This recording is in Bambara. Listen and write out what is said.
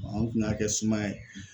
an kun n'a kɛ sumaya ye